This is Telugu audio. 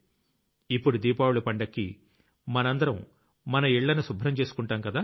ఇప్పుడు దీపావళి పండక్కి మనందరం మన ఇళ్లను శుభ్రం చేసుకుంటాంకదా